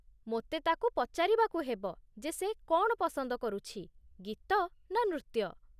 ମୋତେ ତା'କୁ ପଚାରିବାକୁ ହେବ ଯେ ସେ କ'ଣ ପସନ୍ଦ କରୁଛି, ଗୀତ ନା ନୃତ୍ୟ।